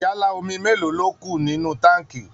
Jálá omi mélòó ni ó kù nínú táǹkì?